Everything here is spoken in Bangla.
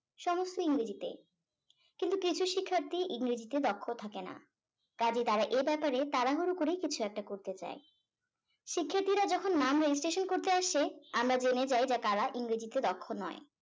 সমস্ত ইংরেজিতে কিন্তু কিছু শিক্ষার্থী ইংরেজিতে দক্ষ থাকে না কাজে তারা এ ব্যাপারে তাড়াহুড়ো করে কিছু একটা করতে চাই শিক্ষার্থিরা যখন নাম registration করতে আসে আমরা জেনে যাই যে কারা ইংরেজিতে দক্ষ নয়